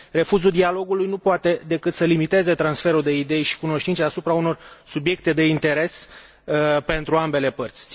refuzul dialogului nu poate decât să limiteze transferul de idei și cunoștințe asupra unor subiecte de interes pentru ambele părți.